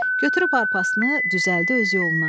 Götürüb arpasını, düzəldi öz yoluna.